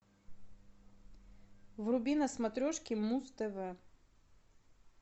вруби на смотрешке муз тв